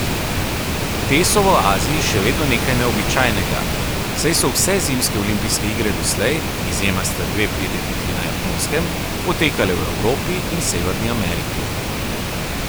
Te so v Aziji še vedno nekaj neobičajnega, saj so vse zimske olimpijske igre doslej, izjema sta dve prireditvi na Japonskem, potekale v Evropi in Severni Ameriki.